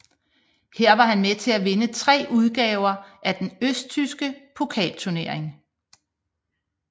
Her var han med til at vinde tre udgaver af den østtyske pokalturnering